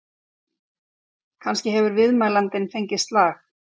Kannski hefur viðmælandinn fengið slag?